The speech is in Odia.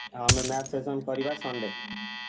ଆଉ ଆମେ math session କରିବା Sunday ।